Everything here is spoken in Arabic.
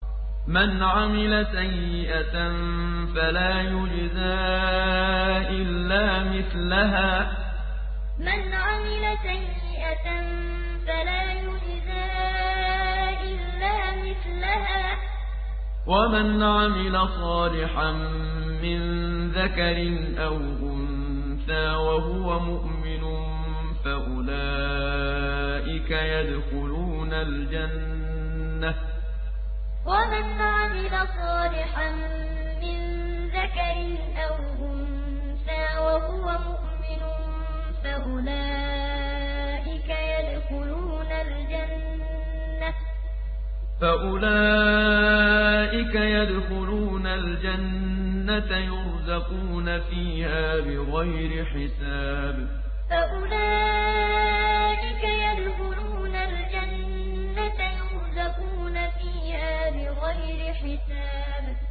مَنْ عَمِلَ سَيِّئَةً فَلَا يُجْزَىٰ إِلَّا مِثْلَهَا ۖ وَمَنْ عَمِلَ صَالِحًا مِّن ذَكَرٍ أَوْ أُنثَىٰ وَهُوَ مُؤْمِنٌ فَأُولَٰئِكَ يَدْخُلُونَ الْجَنَّةَ يُرْزَقُونَ فِيهَا بِغَيْرِ حِسَابٍ مَنْ عَمِلَ سَيِّئَةً فَلَا يُجْزَىٰ إِلَّا مِثْلَهَا ۖ وَمَنْ عَمِلَ صَالِحًا مِّن ذَكَرٍ أَوْ أُنثَىٰ وَهُوَ مُؤْمِنٌ فَأُولَٰئِكَ يَدْخُلُونَ الْجَنَّةَ يُرْزَقُونَ فِيهَا بِغَيْرِ حِسَابٍ